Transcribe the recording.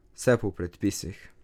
Vse po predpisih.